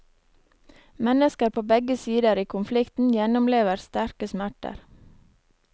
Mennesker på begge sider i konflikten gjennomlever sterke smerter.